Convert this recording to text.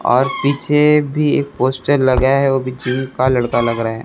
और पीछे भी पोस्टर लगा है वो भी जिम का लड़का लग रहा--